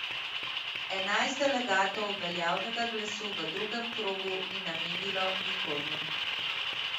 Enajst delegatov veljavnega glasu v drugem krogu ni namenilo nikomur.